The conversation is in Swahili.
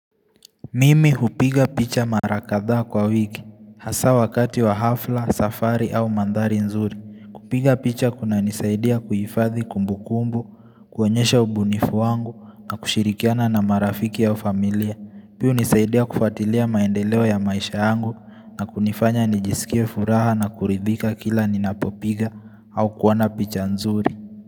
Mimi hupiga picha marakadhaa kwa wiki, hasa wakati wa hafla, safari au mandhari nzuri. Kupiga picha kuna nisaidia kuifadhi kumbu kumbu, kuwanyesha ubunifu wangu na kushirikiana na marafiki ya ufamilia. Pia nisaidia kufatilia maendeleo ya maisha yangu na kunifanya nijisikia furaha na kuridhika kila ninapopiga au kuwana picha nzuri.